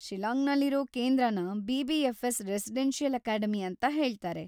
ಶಿಲ್ಲಾಂಗ್‌ನಲ್ಲಿರೋ ಕೇಂದ್ರನ BBFS. residential academy ಅಂತ ಹೇಳ್ತಾರೆ.